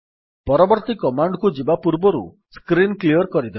ପରବର୍ତ୍ତୀ କମାଣ୍ଡ୍ କୁ ଯିବା ପୂର୍ବରୁ ସ୍କ୍ରୀନ୍ କ୍ଲିଅର୍ କରିଦେବା